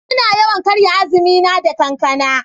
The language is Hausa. Ina yawan karya azumi na da kankana.